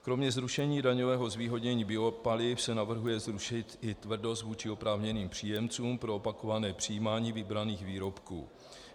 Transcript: Kromě zrušení daňového zvýhodnění biopaliv se navrhuje zrušit i tvrdost vůči oprávněným příjemcům pro opakované přijímání vybraných výrobků.